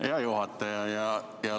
Hea juhataja!